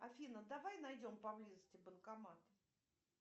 афина давай найдем поблизости банкомат